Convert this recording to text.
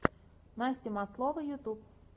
настя маслова ютюб